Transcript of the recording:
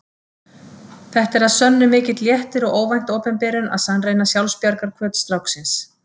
Þetta er að sönnu mikill léttir og óvænt opinberun að sannreyna sjálfsbjargarhvöt stráksins.